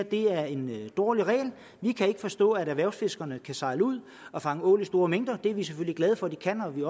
det er en dårlig regel vi kan ikke forstå at erhvervsfiskere kan sejle ud og fange ål i store mængder det er vi selvfølgelig glade for at de kan vi